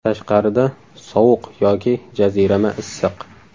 Tashqarida sovuq yoki jazirama issiq!